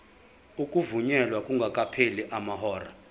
ukuvunyelwa kungakapheli amahora